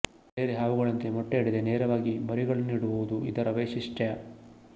ಬೇರೆ ಹಾವುಗಳಂತೆ ಮೊಟ್ಟೆ ಇಡದೆ ನೇರವಾಗಿ ಮರಿಗಳನ್ನಿಡುವುದು ಇದರ ವೈಶಿಶ್ಟ್ಯ